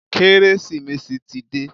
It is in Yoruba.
Kérésìmesì ti dé.